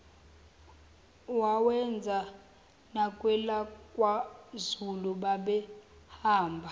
wawenza nakwelakwazulu babehamba